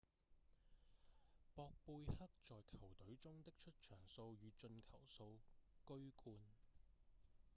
博貝克在球隊中的出場數與進球數居冠